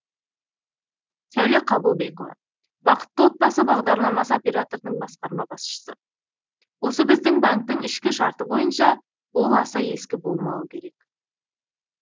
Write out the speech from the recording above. сәуле қабылбекова бақытты отбасы бағдарламасы операторының басқарма басшысы осы біздің банктің ішкі шарты бойынша ол аса ескі болмауы керек